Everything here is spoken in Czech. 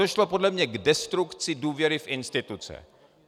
Došlo podle mě k destrukci důvěry v instituce.